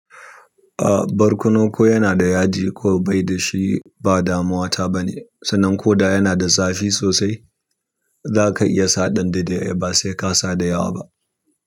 A, barkono ko yana da yaji ko baida shi ba damuwa ta bane, sannan koda yana da zafi sosai zaka iya sa ɗan daidai ai ba sai ka sa dayawa ba.